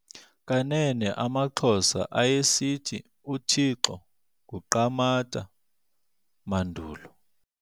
Kanene amaXhosa ayesithi uThixo nguQamatha mandulo.